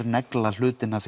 negla hlutina